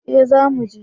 Eh za muje